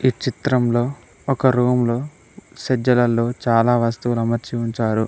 ఈ చిత్రంలో ఒక రూమ్లో సజ్జలలో చాలా వస్తువుల అమర్చి ఉంచారు.